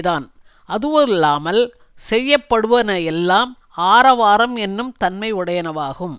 தான் அதுவல்லாமல் செய்யப்படுவன எல்லாம் ஆரவாரம் என்னும் தன்மையுடையனவாகும்